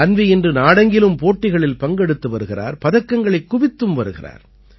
அன்வீ இன்று நாடெங்கிலும் போட்டிகளில் பங்கெடுத்து வருகிறார் பதக்கங்களைக் குவித்து வருகிறார்